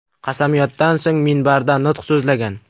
Qasamyoddan so‘ng, minbarda nutq so‘zlagan.